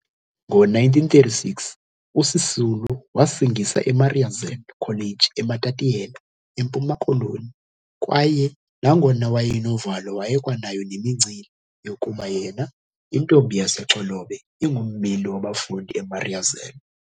Ngo-1936 uSisulu wasingisa eMariazell College eMatatiyela, eMpuma Koloni kwaye nangona wayenovalo wayekwanayo nemincili yokuba yena, intombi yaseXolobe ingummeli wabafundi eMariazell.